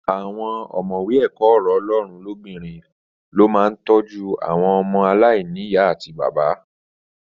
Àwọn ọ̀mọ̀wé ẹ̀kọ́ ọ̀rọ̀ Ọlọ́run lobinrin lo máà ń tọ́jú àwọn ọmọ aláìní ìyá àti bàbá.